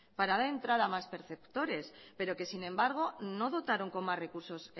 para dar entrada a más perceptores pero que sin embargo no dotaron con más recursos